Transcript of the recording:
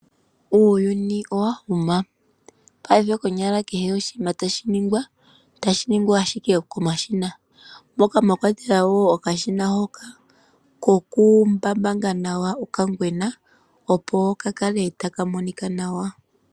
Uuyuni owa huma paife kehe oshinima tashi ningwa ohashi ningwa ashike komashina. Moka mwa kwatelwa woo okashina hoka koku mbambanga nawa oka ngwena opo ka kale taka monika nawa.